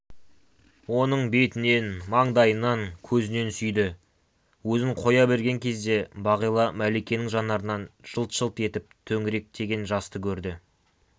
оның бетінен маңдайынан көзінен сүйді өзін қоя берген кезде бағила мәликенің жанарынан жылт-жылт етіп төңіректеген жасты көрді